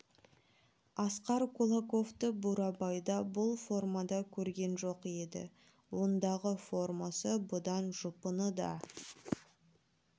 асқар кулаковты бурабайда бұл формада көрген жоқ еді ондағы формасы бұдан жұпыны да